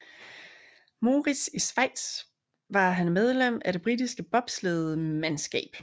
Moritz i Schweiz var han medlem af det britiske bobslæde mandskab